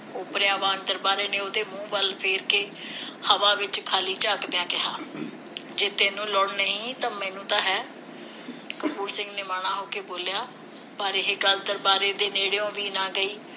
ਉਪਰਲਆਂ ਵਾਂਗ ਦਰਬਾਰੇ ਨੇ ਉਸਦੇ ਮੂੰਹ ਵੱਲ ਵੇਖ ਕੇ ਹਵਾ ਵਿਚ ਖਾਲੀ ਝਾਕਦਿਆਂ ਕਿਹਾ ਜੇ ਤੈਨੂੰ ਲੋੜ ਨਹੀਂ ਤਾਂ ਮੈਨੂੰ ਤਾਂ ਹੈ ਕਪੂਰ ਸਿੰਘ ਨਿਮਾਣਾ ਹੋ ਕੇ ਬੋਲਿਆ ਪਰ ਇਹ ਗੱਲ ਦਰਬਾਰੇ ਦੇ ਨੇੜਿਓ ਵੀ ਨਾ ਗਈ